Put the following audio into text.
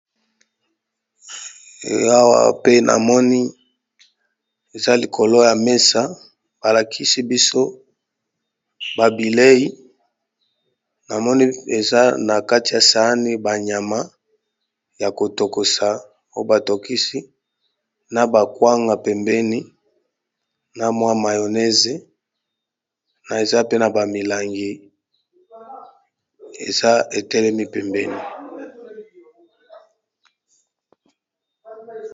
Balakisi biso likolo ya mesa ba bilei, na moni ba nyama na ba kwanga pembeni , na mayonaise na milangi pembeni.